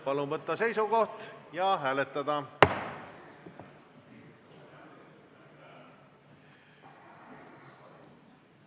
Palun võtta seisukoht ja hääletada!